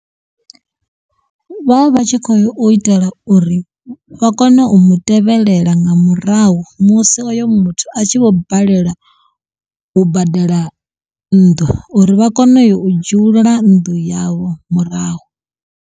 Vha vha vhatshi khou itela uri vha kone u mutevhelela nga murahu musi uyo muthu a tshi vho balelwa u badela nnḓu uri vha kone uya u dzhiulula nnḓu yavho murahu.